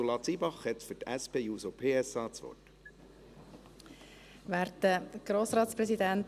– Ursula Zybach hat für die SP-JUSO-PSA das Wort.